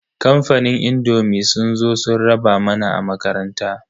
Kamfanin indomi sun zo sun raba mana a makaranta.